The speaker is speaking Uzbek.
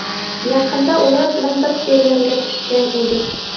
Yaqinda ular bilan bir serialga tushgan edik.